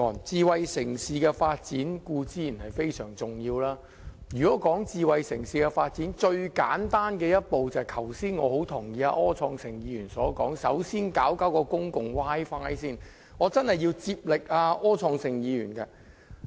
智慧城市的發展固然非常重要，而要發展智慧城市，最簡單的一步，正如我很認同剛才柯創盛議員的說法，也就是首先要做好公共 Wi-Fi。